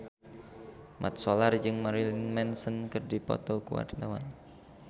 Mat Solar jeung Marilyn Manson keur dipoto ku wartawan